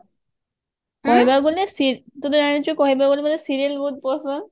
କହିବାକୁ ଗଲେ ତୁ ତ ଜାଣିଛୁ କହିବାକୁ ଗଲେ ମତେ serial ବହୁତ ପସନ୍ଦ